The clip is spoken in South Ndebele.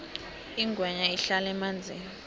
ingwenya ihlala emanzini